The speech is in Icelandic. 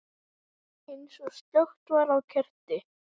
Eins og slökkt væri á kerti.